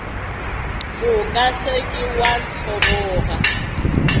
moka se ke wa ntlhoboga